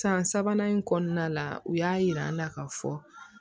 San sabanan in kɔnɔna la u y'a yir'an na ka fɔ